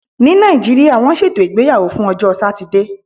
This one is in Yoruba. Ní Nàìjíríà, wọ́n ṣètò ìgbéyàwó fún ọjọ́ Satide.